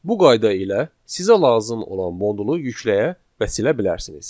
Bu qayda ilə sizə lazım olan modulu yükləyə və silə bilərsiniz.